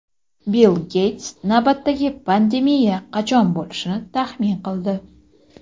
Bill Geyts navbatdagi pandemiya qachon bo‘lishini taxmin qildi.